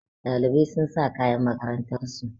Ɗaliban sun sa kayan makarantar su